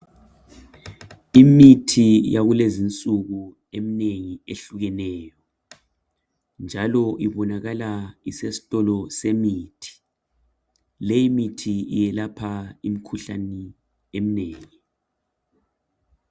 Imithi yakulezinsuku eminengi ehlukeneyo njalo ibonakala isesitolo semithi. Leyi mithi iyelapha imkhuhlani eminengi.